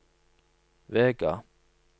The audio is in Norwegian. Vega